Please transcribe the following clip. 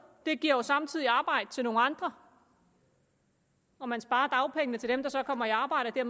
det giver jo samtidig arbejde til nogle andre og man sparer dagpengene til dem der så kommer i arbejde og